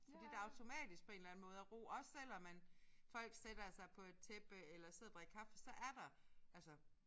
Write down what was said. Fordi der automatisk på en eller anden måde er ro også selvom man folk sætter sig på et tæppe eller sidder og drikker kaffe så er der altså